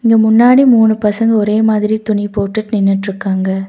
முன்னாடி மூணு பசங்க ஒரே மாதிரி துணி போட்டுட் நின்னுட்ருக்காங்க.